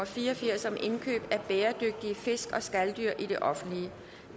fire og firs firs